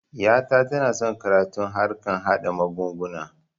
Ƴa ta tana son karatun harkan haɗa mugunguna